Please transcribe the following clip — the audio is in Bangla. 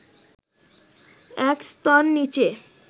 এক স্তর নিচে